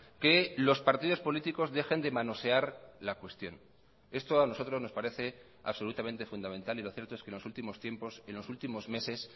que los partidos políticos dejen de manosear la cuestión esto a nosotros nos parece absolutamente fundamental y lo cierto es que los últimos tiempos en los últimos meses